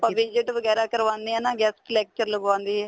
ਆਪਾਂ visit ਵਗੈਰਾ ਕਰਵਾਨੇ ਆ ਨਾ guest lecture ਲਗਵਾਂਦੇ